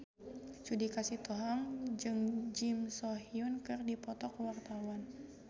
Judika Sitohang jeung Kim So Hyun keur dipoto ku wartawan